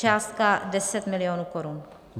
Částka 10 milionů korun.